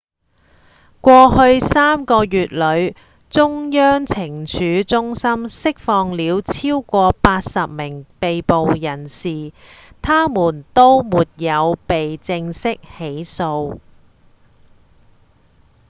在過去3個月裏中央懲處中心釋放了超過80名被捕人士他們都沒有被正式起訴